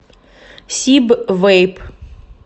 сиб вэйп